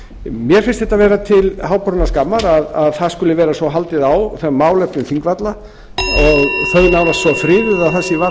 mér finnst þetta vera til háborinnar skammar að það skuli vera svo haldið á málefnum þingvalla og þau nánast svo friðuð að það sé varla hægt